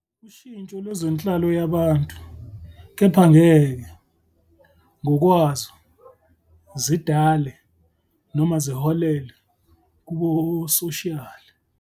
Ushintsho lwezenhlalo yabantu kepha ngeke, ngokwazo, zidale, noma ziholele, kubusoshiyali.